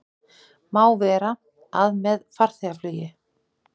Má vera, að með farþegaflugi